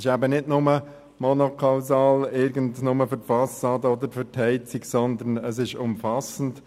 Es ist eben nicht nur monokausal für die Fassade oder die Heizung, sondern es ist umfassend.